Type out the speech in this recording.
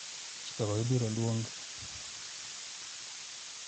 chikego ibiro luongi ni chike mag kungo kod hola